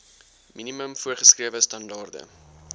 minimum voorgeskrewe standaarde